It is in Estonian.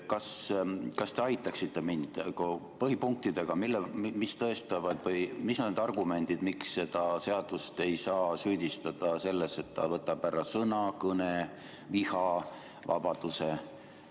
Kas te aitaksite mind põhipunktidega: mis on need argumendid, miks seda seadust ei saa süüdistada selles, et ta võtab ära sõna-, kõne- ja vihavabaduse?